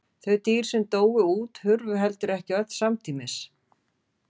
Þau dýr sem dóu út hurfu heldur ekki öll samtímis.